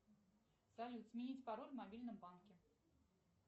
салют сменить пароль в мобильном банке